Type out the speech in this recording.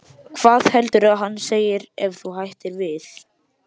Hvað heldurðu að hann segi ef þú hættir við?